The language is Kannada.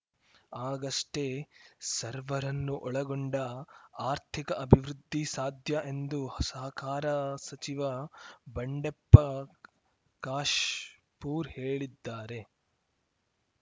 ಆಗಷ್ಟೇ ಸರ್ವರನ್ನೂ ಒಳಗೊಂಡ ಆರ್ಥಿಕ ಅಭಿವೃದ್ಧಿ ಸಾಧ್ಯ ಎಂದು ಸಹಕಾರ ಸಚಿವ ಬಂಡೆಪ್ಪ ಕಾಶ್ ಪೂರ್‌ ಹೇಳಿದ್ದಾರೆ